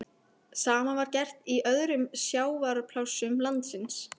Sama var gert í öðrum sjávarplássum landsins.